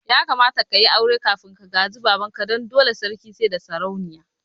Ya kamata ka yi aure kafin ka gaji baban ka, dan dole sarki saida sarauniya